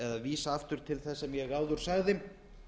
vísa aftur til þess sem ég áður sagði